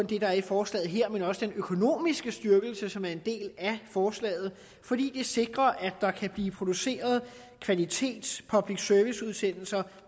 det der er i forslaget her men selvfølgelig også den økonomiske styrkelse som er en del af forslaget fordi det sikrer at der kan blive produceret kvalitets public service udsendelser